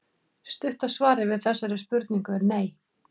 Stutta svarið við þessari spurningu er nei.